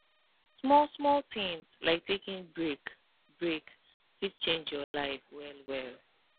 small small things like taking break break fit change your life well well